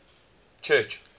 church